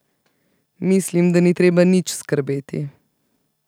Mislim, da ni treba nič skrbeti.